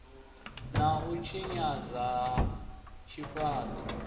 na u tshinyadzwa ha zwifhaṱo